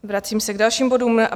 Vracím se k dalším bodům.